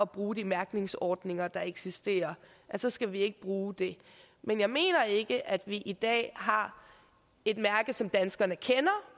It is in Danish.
bruge de mærkningsordninger der eksisterer så skal vi ikke bruge det men jeg mener ikke at vi i dag har et mærke som danskerne kender